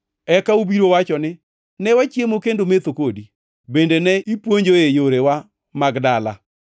“Eka ubiro wacho ni, ‘Ne wachiemo kendo metho kodi, bende ne ipuonjoe yorewa mag dala.’